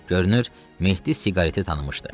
Görünür, Mehdi siqareti tanımışdı.